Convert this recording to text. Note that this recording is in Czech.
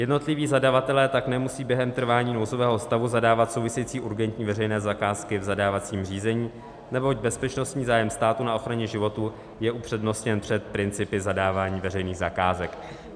Jednotliví zadavatelé tak nemusí během trvání nouzového stavu zadávat související urgentní veřejné zakázky v zadávacím řízení, neboť bezpečnostní zájem státu na ochraně životů je upřednostněn před principy zadávání veřejných zakázek.